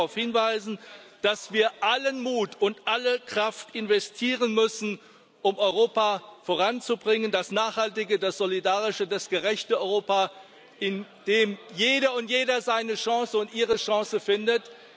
Ich will darauf hinweisen, dass wir allen Mut und alle Kraft investieren müssen, um Europa voranzubringen das nachhaltige, das solidarische, das gerechte Europa, in dem jede und jeder seine Chance und ihre Chance findet.